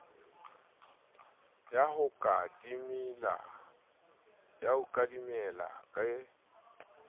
ya ho ka timela ke